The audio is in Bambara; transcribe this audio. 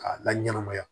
K'a la ɲɛnamaya